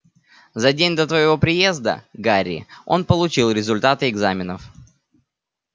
за день до твоего приезда гарри он получил результаты экзаменов